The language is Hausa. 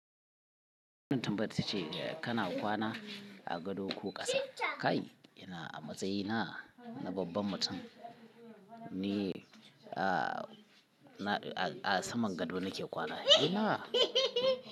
Tumbat ce kana kwana a gado ko ƙasa? Kai ina a matsayina na babban mutum ni a saman gado nake kwana. Kai ina.